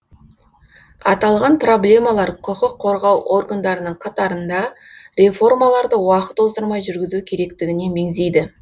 аталған проблемалар құқық қорғау органдарының қатарында реформаларды уақыт оздырмай жүргізу керектігіне меңзейді